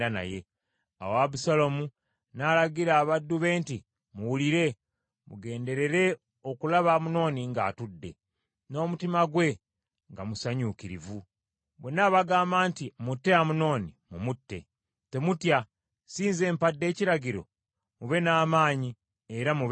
Awo Abusaalomu n’alagira abaddu be nti, “Muwulire! Mugenderere okulaba Amunoni ng’atudde, n’omutima gwe nga musanyuukirivu; bwe n’abagamba nti, ‘mutte Amunoni,’ mumutte. Temutya, si nze mpadde ekiragiro? Mube n’amaanyi era mube bazira.”